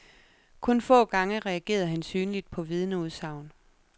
Kun få gange reagerede han synligt på vidneudsagn.